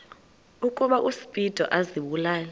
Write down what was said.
ukuba uspido azibulale